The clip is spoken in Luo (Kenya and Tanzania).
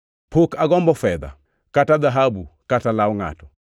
Pok agombo fedha kata dhahabu kata law ngʼato.